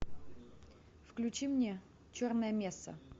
включи мне черная месса